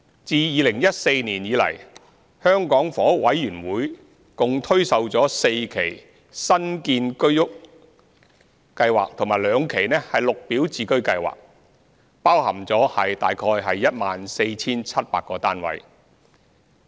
自2014年以來，香港房屋委員會共推售了4期新建居者有其屋計劃和兩期綠表置居計劃，包含約 14,700 個單位。